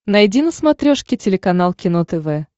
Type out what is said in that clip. найди на смотрешке телеканал кино тв